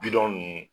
Bidɔn ni